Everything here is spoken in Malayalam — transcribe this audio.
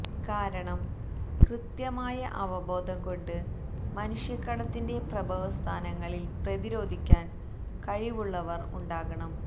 കാരണം കൃത്യമായ അവബോധം കൊണ്ട് മനുഷ്യക്കടത്തിന്റെ പ്രഭവസ്ഥാനങ്ങളിൽ പ്രതിരോധിക്കാൻ കഴിവുള്ളവർ ഉണ്ടാകണം